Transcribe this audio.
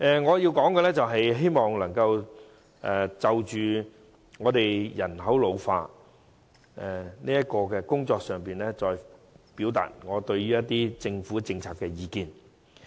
我現在會就人口老化的工作，表達我對有關政府政策的意見。